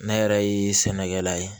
Ne yɛrɛ ye sɛnɛkɛla ye